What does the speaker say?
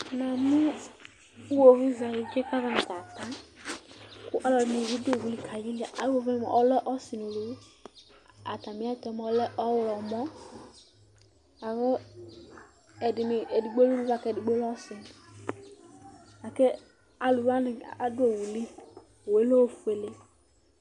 Namʋ iwovizɛalʋ kikavasa, kʋ ɔlɔdi nɩ bɩ du owu li, alɛ ɔsi nʋ uluvi Atami ɛtʋ yɛ mʋa ɔlɛ ɔɣlɔmɔ Alu wani dza adu owu li Owu yɛ lɛ ofuele